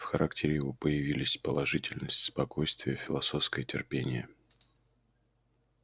в характере его появились положительность спокойствие философское терпение